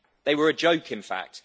They were a joke, in fact.